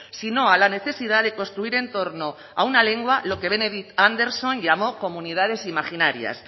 si no a la necesidad de construir en torno a una lengua lo que benedict anderson llamó comunidades imaginarias